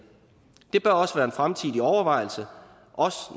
det bør også være en fremtidig overvejelse også